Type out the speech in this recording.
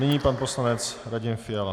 Nyní pan poslanec Radim Fiala.